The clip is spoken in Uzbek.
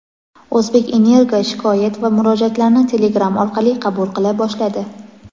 "O‘zbekenergo" shikoyat va murojaatlarni Telegram orqali qabul qila boshladi.